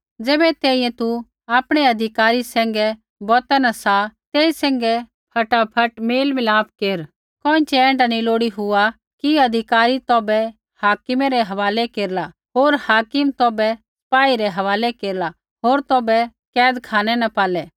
ज़ैबै तैंईंयैं तू आपणै अधिकारी सैंघै बौता न सा तेई सैंघै फटाफट मेल मिलाप केर कोइँछ़ै ऐण्ढा नी लोड़ी हुआ कि अधिकारी तौभै हाकिमै रै हवालै केरला होर हाकिम तौभै सपाई रै हवालै केरला होर तौभै कैदखानै न पालै